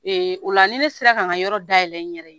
Ee o la ni ne sera ka yɔrɔ dayɛlɛ n yɛrɛ ye